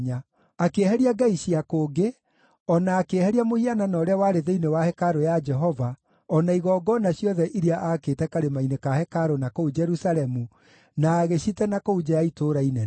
Akĩeheria ngai cia kũngĩ, o na akĩeheria mũhianano ũrĩa warĩ thĩinĩ wa hekarũ ya Jehova, o na igongona ciothe iria aakĩte karĩma-inĩ ka hekarũ na kũu Jerusalemu, na agĩcite na kũu nja ya itũũra inene.